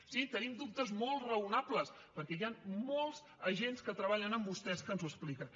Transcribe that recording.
sí tenim dubtes molt raonables perquè hi han molts agents que treballen amb vostès que ens ho expliquen